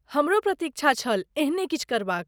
हमरो प्रतीक्षा छल एहने किछु करबाक।